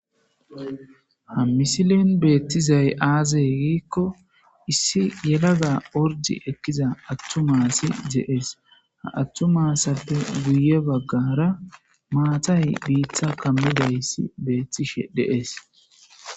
Ha misilin beettizay aazey giikko issi yelada ordi ekkiza attumasi jeees ha attumasappe guye baggara maatay biittha kammidayssi beettishe deees.